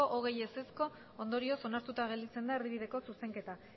hogei ondorioz onartuta gelditzen da erdibideko zuzenketa